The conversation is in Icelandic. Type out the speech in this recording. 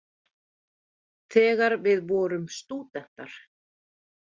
Þegar við vorum stúdentar.